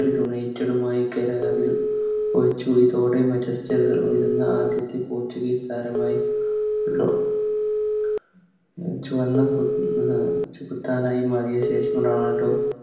United ഉമായി കരാറ് ചത്തോടെ ആദ്യത്തെ Portuguese താരമായി ചുവന്ന കു ചെകുത്താനായി മാറിയ ശേഷം ആകെ